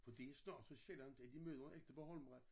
For det snart så sjældent at de møder en ægte bornholmer